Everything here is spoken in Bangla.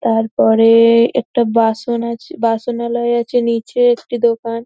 তারপরে একটা বাসন আছে বাসনালয় আছে নিচে একটি দোকান ।